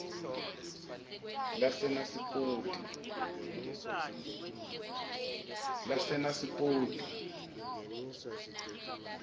lasenasipoti